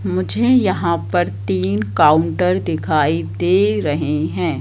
मुझे यहां पर तीन काउंटर दिखाई दे रहे हैं।